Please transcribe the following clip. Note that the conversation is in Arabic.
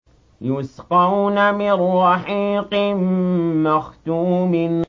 يُسْقَوْنَ مِن رَّحِيقٍ مَّخْتُومٍ